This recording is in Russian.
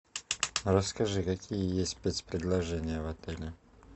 расскажи какие есть спец предложения в отеле